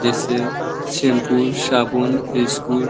जैसे सम्पू साबुन बिस्कुट --